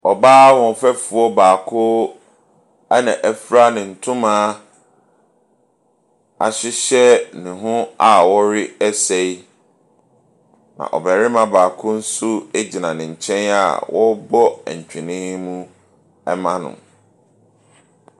Ɔbaa ahoɔfɛfoɔ baako, ɛna afira ne ntoma ahyehyɛ ne ho a ɔresa yi. Na ɔbarima baako nso egyina ne nkyɛn a ɔrebɔ ntwene mu ɛma no.